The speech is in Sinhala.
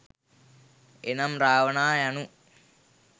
එනම්, රාවණා යනු